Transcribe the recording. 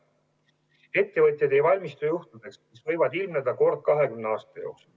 Ettevõtjad ei valmistu juhtudeks, mis võivad ilmneda kord 20 aasta jooksul.